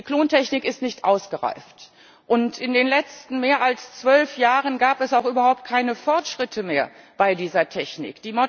Die Klontechnik ist nicht ausgereift, und in den letzten mehr als zwölf Jahren gab es auch überhaupt keine Fortschritte mehr bei dieser Technik.